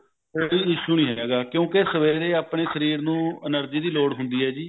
ਕੋਈ issue ਨਹੀਂ ਹੈਗਾ ਕਿਉਂਕਿ ਸਵੇਰੇ ਆਪਨੇ ਸ਼ਰੀਰ ਨੂੰ energy ਦੀ ਲੋੜ ਹੁੰਦੀ ਹੈ